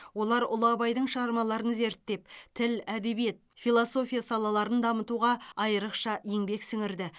олар ұлы абайдың шығармаларын зерттеп тіл әдебиет философия салаларын дамытуға айрықша еңбек сіңірді